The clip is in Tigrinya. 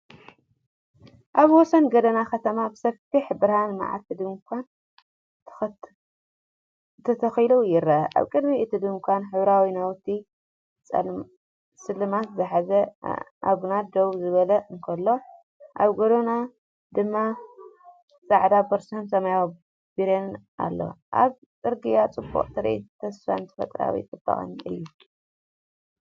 ኣብ ወሰን ጎደና ከተማ ብሰፊሕ ብርሃን መዓልቲ ድኳን ተተኺሉ ይርአ። ኣብ ቅድሚ እቲ ድኳን ሕብራዊ ናውትን ስልማትን ዝሓዘ ኣአንጋዲ ደው ክብል እንከሎ፡ኣብ ጎድኑ ድማ ጻዕዳ ቦርሳን ሰማያዊ በርሚልን ኣሎ። ኣብ ጽርግያ ጽቡቕ ትርኢት ተስፋን ተፈጥሮኣዊ ጽባቐን እዩ።